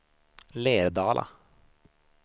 Lerdala